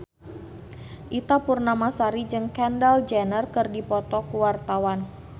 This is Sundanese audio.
Ita Purnamasari jeung Kendall Jenner keur dipoto ku wartawan